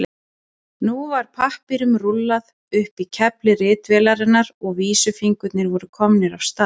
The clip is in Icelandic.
Nú var pappírnum rúllað upp á kefli ritvélarinnar og vísifingurnir voru komnir af stað.